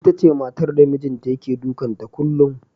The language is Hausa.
Itace matar da mijinta yake dukan ta kullum.